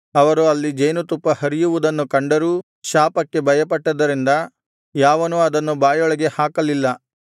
ಅವರು ಅಲ್ಲಿ ಜೇನುತುಪ್ಪ ಹರಿಯುವುದನ್ನು ಕಂಡರೂ ಶಾಪಕ್ಕೆ ಭಯಪಟ್ಟದರಿಂದ ಯಾವನೂ ಅದನ್ನು ಬಾಯೊಳಗೆ ಹಾಕಲಿಲ್ಲ